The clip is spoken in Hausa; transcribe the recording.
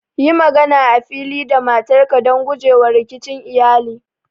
Yi magana a fili da matarka don guje wa rikicin iyali.